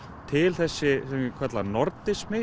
til þessi sem ég kalla